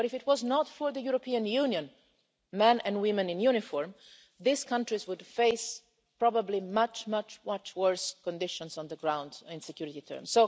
Were it not for the European Union men and women in uniform, these countries would face probably much, much worse conditions on the ground in security